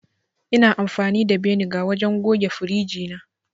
Ina amfani da beniga wajen goge firiji na